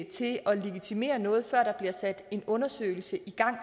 til at legitimere noget før der bliver sat en undersøgelse i gang